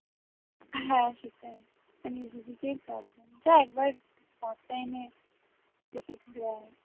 হ্যাঁ সেটাই কাজ হয় না off time এ ঘুরে আয়